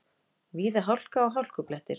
Víða hálka og hálkublettir